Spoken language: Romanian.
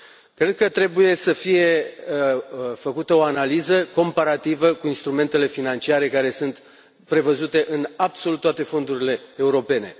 Cred că trebuie să fie făcută o analiză comparativă cu instrumentele financiare care sunt prevăzute în absolut toate fondurile europene.